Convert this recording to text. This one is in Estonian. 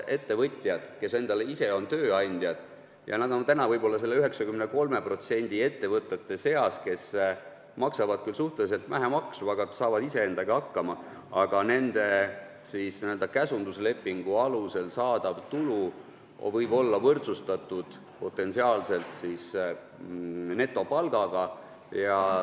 Ettevõtjatel, kes on ise endale tööandjad ja kelle ettevõte on võib-olla selle 93% ettevõtete seas, mis maksavad küll suhteliselt vähe maksu, aga saavad iseendaga hakkama, võib n-ö käsunduslepingu alusel saadav tulu olla potentsiaalselt võrdsustatud netopalgaga.